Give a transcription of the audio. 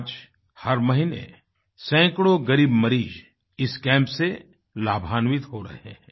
आज हर महीने सैकड़ों ग़रीब मरीज़ इस कैंप से लाभान्वित हो रहे हैं